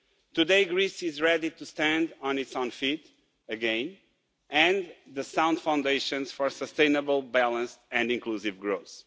Today Greece is ready to stand on its own feet again and with the sound foundations for sustainable balance and inclusive growth.